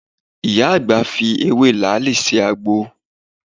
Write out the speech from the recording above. Ìyá àgbà fi ewé làáàlì se àgbo.